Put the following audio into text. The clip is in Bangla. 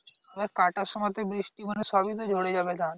কাটার সময় তে বৃষ্টি মানে সবই তো জলে যাবে তাহলে